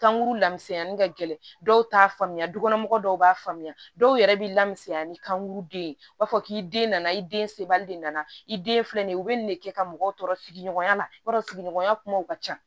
Kankuru laminɛnni ka gɛlɛn dɔw t'a faamuya dukɔnɔmɔgɔw dɔw b'a faamuya dɔw yɛrɛ b'i la misɛnya ni kankuru den u b'a fɔ k'i den nana i den sebali de nana i den filɛ nin ye u bɛ nin de kɛ ka mɔgɔw tɔɔrɔ sigiɲɔgɔnya la i b'a dɔn sigiɲɔgɔnya kumaw ka ca